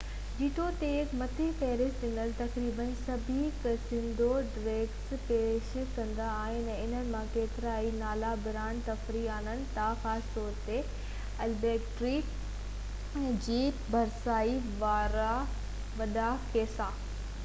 جيتوڻيڪ، مٿي فهرست ڏنل تقريبن سڀئي ڪسينو ڊرنڪس پيش ڪندا آهن، ۽ انهن مان ڪيترائي نالي-برانڊ تفريح آڻين ٿا خاص طور تي البڪرڪي ۽ سينٽا في جي ڀرپاسي وارا وڏا ڪسينو